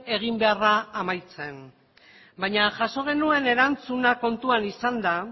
eginbeharra amaitzen baina jaso genuen erantzuna kontuan izanda